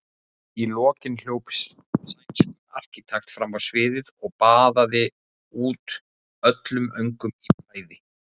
Í lokin hljóp sænskur arkitekt fram á sviðið og baðaði út öllum öngum í bræði.